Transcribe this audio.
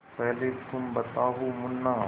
पहले तुम बताओ मुन्ना